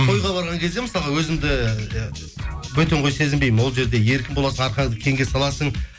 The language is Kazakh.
тойға барған кезде мысалға өзіңді иә бөтен қой сезінбеймін ол жерде еркін боласың арқаңды кеңге саласың